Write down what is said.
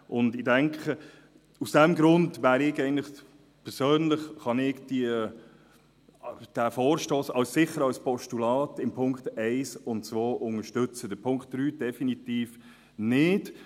– Aus diesem Grund kann ich persönlich diesen Vorstoss in Punkt 1 und 2 als Postulat sicher unterstützen, Punkt 3 definitiv nicht.